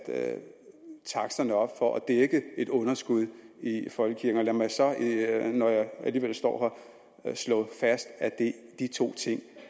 taksterne op for at dække et underskud i folkekirken lad mig når jeg alligevel står her slå fast at de to ting